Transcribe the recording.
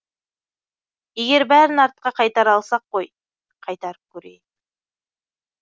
егер бәрін артқа қайтара алсақ қой қайтарып көрейік